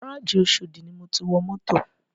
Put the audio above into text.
Gárájì oshodi ni mo ti wọ mọ́tò